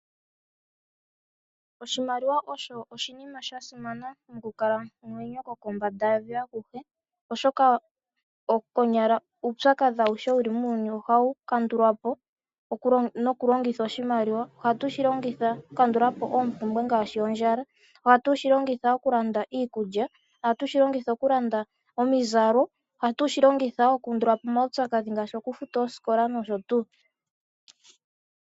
Oshimaliwa osho oshinima shasimana mokukalamwenyo kokombanda yevi akuhe, oshoka konyala uupyakadhi awuhe wuli muuyuni ohawu kandulwa po nokulongitha oshimaliwa, ohatu shilongitha okuka ndulapo oopumbwe ngaashi ondjala, ohatu shi longitha iikulya, ohatu shi longitha okulanda omizalo, ohatu shilongitha woo okuundula po omaupyakadhi ngaashi okufuta oosikola nosho tuu.